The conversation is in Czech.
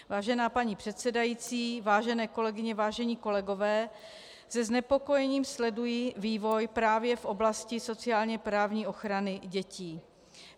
Vážená paní předsedající, vážené kolegyně, vážení kolegové, se znepokojením sleduji vývoj právě v oblasti sociálně-právní ochrany dětí.